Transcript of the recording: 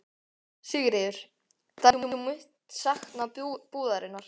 Sigríður: Þannig þú munt sakna búðarinnar?